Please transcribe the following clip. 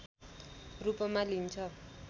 रूपमा लिइन्छ